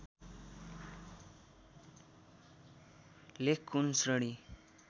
लेख कुन श्रेणी